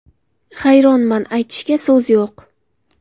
Hayronman, aytishga so‘z yo‘q.